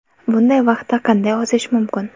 Bunday vaqtda qanday ozish mumkin?